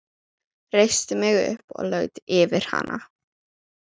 Reisti mig upp og laut yfir hana.